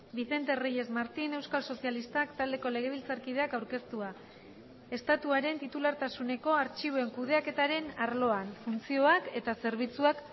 vicente reyes martín euskal sozialistak taldeko legebiltzarkideak aurkeztua estatuaren titulartasuneko artxiboen kudeaketaren arloan funtzioak eta zerbitzuak